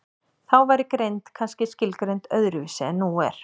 Þá væri greind kannski skilgreind öðru vísi en nú er.